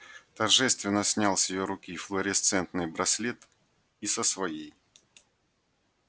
торжественно снял с её руки флуоресцентный браслет и со своей